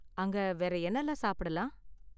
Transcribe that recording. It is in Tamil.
அங்க வேற என்னலாம் சாப்பிடலாம்?